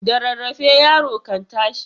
Da rarrafe yaro kan tashi.